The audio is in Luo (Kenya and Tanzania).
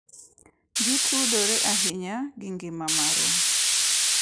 Gitudore ahinya gi ngima marwa .